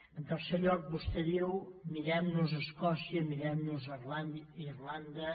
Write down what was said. en tercer lloc vostè diu mirem nos escòcia mirem nos irlanda